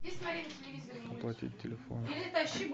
оплатить телефон